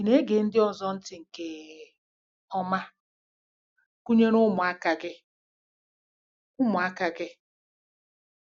Ị̀ na-ege ndị ọzọ ntị nke ọma, gụnyere ụmụaka gị? ụmụaka gị?